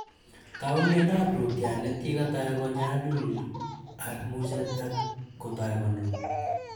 Tau miando ap rootyonet ye katai konyalul armuchet ako tai konunu